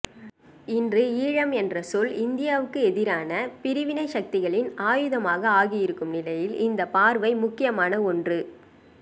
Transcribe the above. இன்று ஈழம் என்ற சொல் இந்தியாவுக்கு எதிரான பிரிவினைச் சக்திகளின் ஆயுதமாக ஆகியிருக்கும் நிலையில் இந்தப்பார்வை முக்கியமான ஒன்று